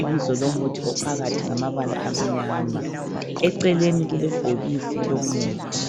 ibizo lomuthi ophakathi ngamabala amnyama, eceleni kulebhokisi lomuthi.